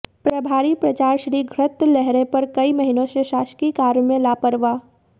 प्रभारी प्राचार्य श्री घृतलहरे पर कई महीनों से शासकीय कार्य में लापरवा